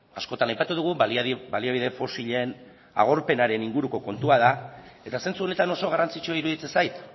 askotan aipatu dugu baliabide fosilen agorpenaren inguruko kontua da eta zentzu honetan oso garrantzitsua iruditzen zait